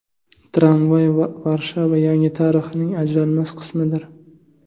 Tramvay Varshava yangi tarixining ajralmas qismidir.